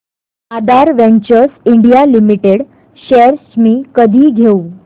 आधार ventures India limited shares मी कधी घेऊ